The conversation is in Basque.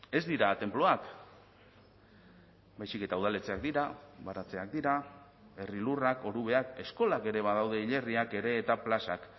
ez dira tenpluak baizik eta udaletxeak dira baratzeak dira herri lurrak orubeak eskolak ere badaude hilerriak ere eta plazak